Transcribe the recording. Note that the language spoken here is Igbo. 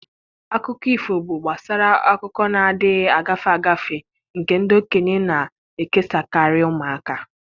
Akụkọ ifo bụ gbasara akụkọ na-adịghị agafe agafe nke ndị okenye na-ekesakarị ụmụaka.